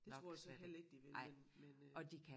Det tror jeg slet heller ikke de vil men men øh